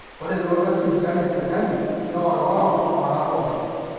ore elototo esipitali esirkali neorioro tooltung'anak pooki